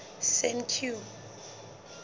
senqu